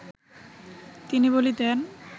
তিনি বলিতেন